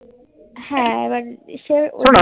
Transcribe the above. হ্যান এবারের সে